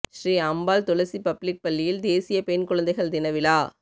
ஸ்ரீஅம்பாள் துளசி public பள்ளியில் தேசிய பெண் குழந்தைகள் தின விழா